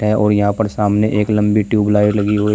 और यहां पर सामने एक लंबी ट्यूबलाइट लगी हुई है।